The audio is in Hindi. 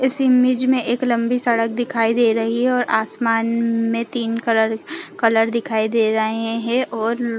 इस इमेज मे एक लम्बी सड़क दिखई दे रही है और आसमान मे तीन कलर कलर दिखाई दे रहै है और--